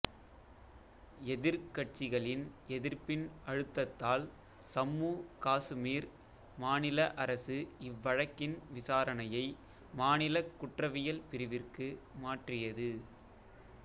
எதிர்க் கட்சிகளின் எதிர்ப்பின் அழுத்தத்தால் சம்மு காசுமீர் மாநில அரசு இவ்வழக்கின் விசாரணையை மாநிலக் குற்றவியல் பிரிவிற்கு மாற்றியது